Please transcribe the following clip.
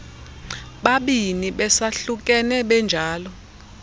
babini besahlukene benjalo